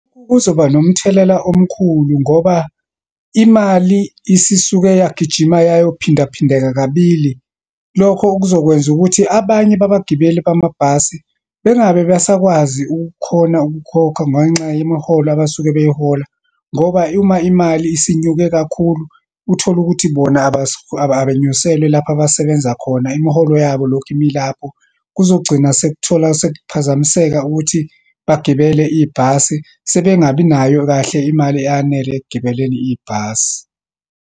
Kuzoba nomthelela omkhulu ngoba imali isisuke yagijima yayo phinda phindeka kabili. Lokho okuzokwenza ukuthi abanye babagibeli bamabhasi bangabe besakwazi ukukhona ukukhokha ngenxa yemiholo abasuke beyihola. Ngoba uma imali isinyuke kakhulu, uthola ukuthi bona abanyuselwe lapho abasebenza khona, imiholo yabo ilokhu imi ilapho. Kuzogcina sekuthola, sekuphazamiseka ukuthi bagibele ibhasi, sebengabi nayo kahle imali eyanele ekugibeleni ibhasi.